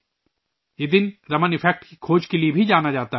یہ دن رمن ایفیکٹ کی دریافت کے لئے بھی جانا جاتا ہے